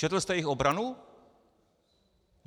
Četl jste jejich obranu?